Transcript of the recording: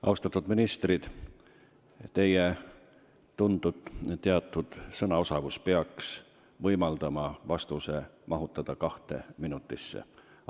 Austatud ministrid, teie tuntud ja teatud sõnaosavus peaks võimaldama vastuse kahe minuti sisse mahutada.